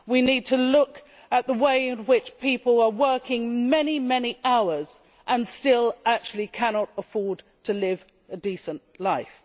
We need to look at the way in which people are working many, many hours and still actually cannot afford to live a decent life.